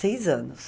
Seis anos.